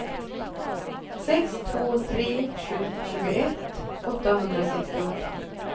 sex två tre sju tjugoett åttahundrasextioåtta